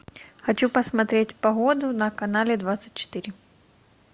хочу посмотреть погоду на канале двадцать четыре